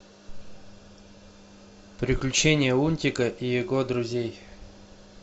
приключения лунтика и его друзей